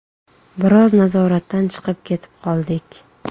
Biroz nazoratdan chiqib ketib qoldik.